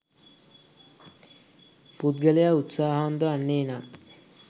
පුද්ගලයා උත්සාහවන්ත වන්නේ නම්